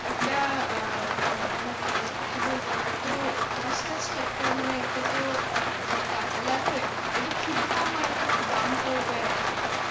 একটা অ্যাঁ অ্যাঁ মানে কি বলবো একটা তো আছে একটা মানে একটা তো অ্যাঁ মানে টাকা লাগবে ওটা কিরকম আরকি দাম পড়বে আর কি